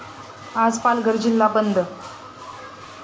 आज पालघर जिल्हा बंद